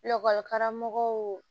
karamɔgɔw